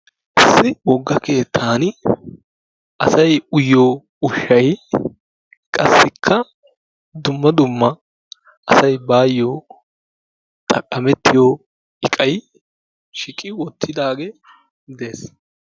Issi wogga keettani asay uyiyoo ushshay qassikka dumma dumma asay bayoo xaqamettiyoo iqay shiiqi wottidaagee dees.